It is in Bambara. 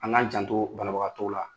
An k'a janto banabagatɔw la